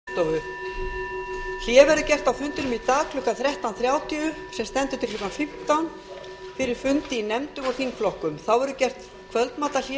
hlé verður gert á fundinum í dag klukkan þrettán þrjátíu sem stendur til klukkan fimmtán fyrir fundi í nefndum og þingflokkum þá verður gert kvöldmatarhlé